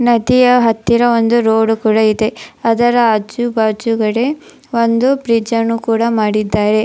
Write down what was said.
ನದಿಯ ಹತ್ತಿರ ಒಂದು ರೋಡ್ ಕೂಡ ಇದೆ ಅದರ ಆಜು ಬಾಜುಗಡೆ ಒಂದು ಬ್ರಿಡ್ಜನ್ನು ಕೂಡ ಮಾಡಿದ್ದಾರೆ.